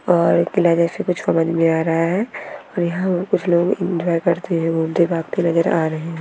और एक किला जैसे कुछ समज में आ रहा है और यहाँ कुछ लोग एन्जॉय करते हुए नजर आ रहे है।